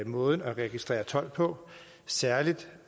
måden at registrere told på særlig